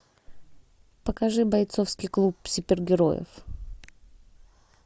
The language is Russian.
покажи бойцовский клуб супергероев